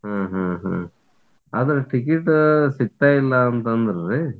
ಹ್ಮ್ ಹ್ಮ್ ಹ್ಮ್ ಆದ್ ticket ಸಿಗ್ತಾಯಿಲ್ಲಾ ಅಂತ ಅಂದ್ರರೀ.